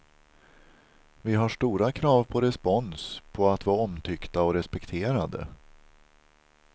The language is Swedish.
Vi har stora krav på respons, på att vara omtyckta och respekterade.